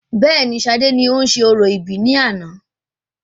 Bẹẹni, sade ni ó ń ṣe orò ìbí ní àná